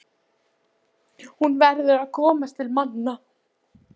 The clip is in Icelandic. Hún verður að komast til manna.